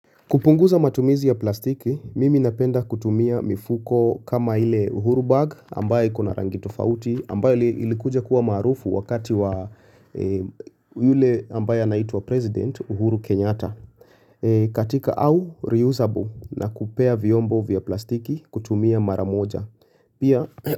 Kupunguza matumizi ya plastiki, mimi napenda kutumia mifuko kama ile uhuru bag ambaye kuna rangi tofauti ambaye ilikuja kuwa marufu wakati wa yule ambaye anaitu wa president uhuru kenyata. Katika au reusable na kupea vyombo vya plastiki kutumia maramoja.